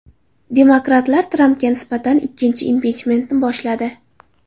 Demokratlar Trampga nisbatan ikkinchi impichmentni boshladi.